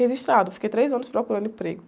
Registrado, fiquei três anos procurando emprego.